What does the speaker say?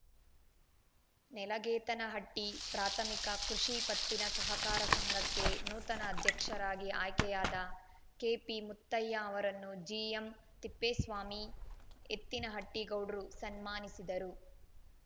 ನೆಲಗೇತನಹಟ್ಟಿಪ್ರಾಥಮಿಕ ಕೃಷಿ ಪತ್ತಿನ ಸಹಕಾರ ಸಂಘಕ್ಕೆ ನೂತನ ಅಧ್ಯಕ್ಷರಾಗಿ ಆಯ್ಕೆಯಾದ ಕೆಪಿಮುತ್ತಯ್ಯ ಅವರನ್ನು ಜಿಎಂತಿಪ್ಪೇಸ್ವಾಮಿಎತ್ತಿನಹಟ್ಟಿಗೌಡ್ರು ಸನ್ಮಾನಿಸಿದರು